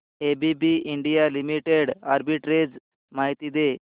ABB India limited arbitrage माहिती दे